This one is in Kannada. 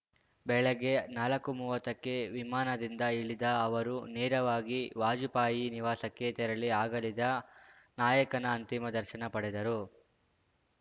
ಬೆಳಗ್ಗೆ ನಾಲ್ಕುಮೂವತ್ತಕ್ಕೆ ವಿಮಾನದಿಂದ ಇಳಿದ ಅವರು ನೇರವಾಗಿ ವಾಜಪೇಯಿ ನಿವಾಸಕ್ಕೆ ತೆರಳಿ ಅಗಲಿದ ನಾಯಕನ ಅಂತಿಮ ದರ್ಶನ ಪಡೆದರು